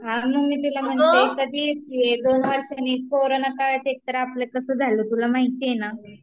हा मग मी तुला म्हणतेय कधी येतेय, दोन वर्षांनी, कोरोना काळात एकतर आपलं कसं झालं तुला माहितीये ना